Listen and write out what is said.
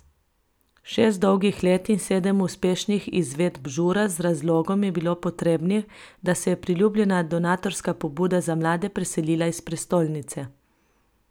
Šest dolgih let in sedem uspešnih izvedb Žura z razlogom je bilo potrebnih, da se je priljubljena donatorska pobuda za mlade preselila iz prestolnice.